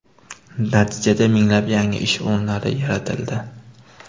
Natijada minglab yangi ish o‘rinlari yaratildi.